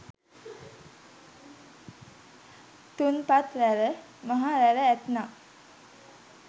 තුන්පත් රැළ මහ රැළ ඇත්නම්